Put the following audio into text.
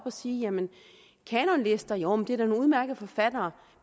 at sige jamen kanonlister joh det er da nogle udmærkede forfattere